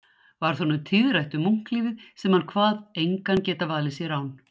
Varð honum tíðrætt um munklífið sem hann kvað engan geta valið sér án